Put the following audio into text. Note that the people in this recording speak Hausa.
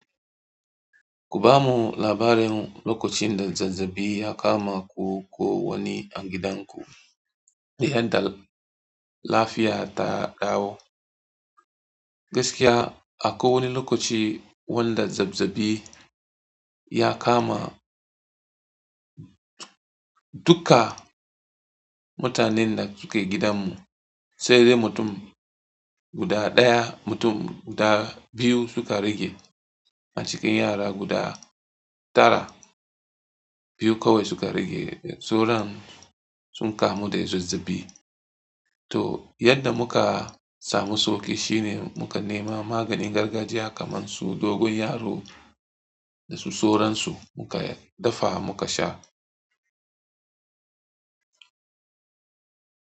Ku bamu labarin lokacin da zazzabi ya kama ku ko wani a gidanku, da yadda lafiya ta dawo. Gaskiya, akwai wani lokaci wanda zazzabi ya kama duka mutanen da suke gidanmu, sai dai mutum guda ɗaya, mutum guda biyu suka rage a cikin yara guda tara, biyu kawai suka rage. Soron sun kamu da zazzabi. To, yadda muka samu sauƙi shine muka nema maganin gargajiya kamar su dogon yaro da su soron su muka dafa muka sha.